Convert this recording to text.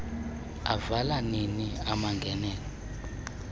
avalwa nini amangenelo